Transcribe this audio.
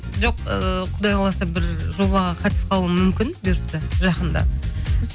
жоқ ііі құдай қаласа бір жобаға қатысып қалуым мүмкін бұйыртса жақында